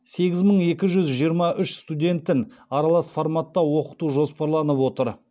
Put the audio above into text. сегіз мың екі жүз жиырма үш студентін аралас форматта оқыту жоспарланып отыр